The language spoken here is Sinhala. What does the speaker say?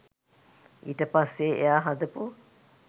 ඒට පස්සේ එයා හදපු